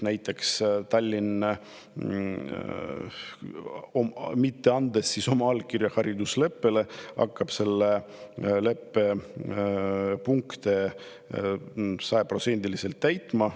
Tallinn, mitte andes oma allkirja haridusleppele, hakkab nüüd selle leppe punkte sajaprotsendiliselt täitma.